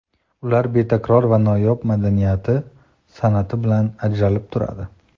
Ular betakror va noyob madaniyati, san’ati bilan ajratilib turadi.